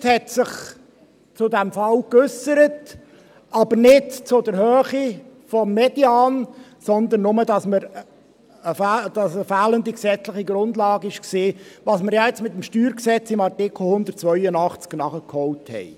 Das Verwaltungsgericht hat sich zu diesem Fall geäussert, aber nicht zur Höhe des Medians, sondern nur dazu, dass es eine fehlende gesetzliche Grundlage gab, was wir jetzt mit dem StG in Artikel 82 nachgeholt haben.